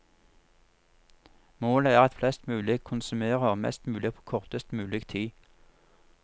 Målet er at flest mulig konsumerer mest mulig på kortest mulig tid.